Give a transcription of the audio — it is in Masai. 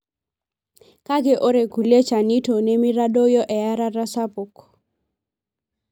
kake ore kulie chanito nemitadoyio eyarata sapuk,